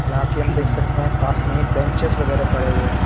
जा के हम देख सकते हैं पास में ही बेंचेज वगैरा पड़े हुए हैं।